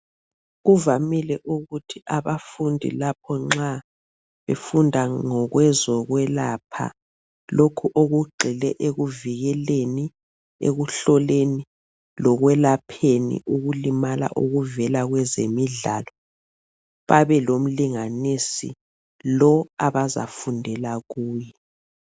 Kuvamile ukuthi abafundi lapho nxa befunda ngezokwelapha lokhu okugxile ekuvikeleni, ekuhloleni lekwelapheni ukulimala okuvela kwezemidlalo, babe lomlinganisi lo abazafundela kuye.